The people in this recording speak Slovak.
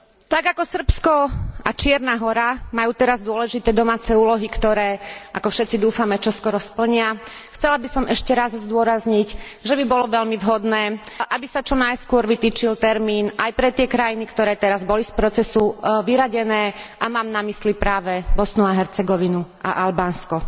Tak ako Srbsko a Čierna Hora majú teraz dôležité domáce úlohy, ktoré, ako všetci dúfame, čoskoro splnia, chcela by som ešte raz zdôrazniť, že by bolo veľmi vhodné, aby sa čo najskôr vytýčil termín aj pre tie krajiny, ktoré teraz boli z procesu vyradené a mám na mysli práve Bosnu a Hercegovinu a Albánsko.